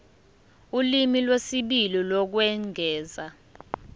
ulimi lwesibili lokwengeza